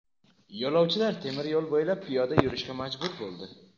Yo‘lovchilar temir yo‘l bo‘ylab piyoda yurishga majbur bo‘ldi.